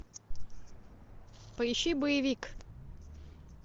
поищи боевик